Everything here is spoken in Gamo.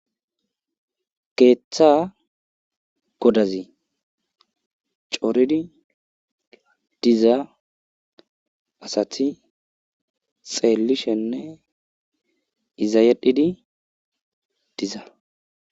Ketha kodazi coridi diza asati xelishene iza yedhidi diza